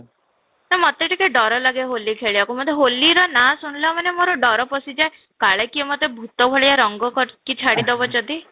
ମତେ ବି ଟିକେ ଡର ଲାଗେ ହୋଲି ଖେଳିବାକୁ ମତେ ହୋଲି ର ନାଁ ଶୁଣିଲା ମାନେ ମୋର ଡ଼ର ପଶିଯାଏ, କାଳେ କିଏ ମୋତେ ଭୂତ ଭଳିଆ ରଙ୍ଗ କରିକି ଛାଡି ଦବ ଯଦି